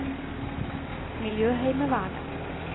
miljøheimevernet